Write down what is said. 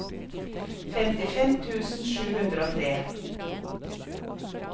femtifem tusen sju hundre og tre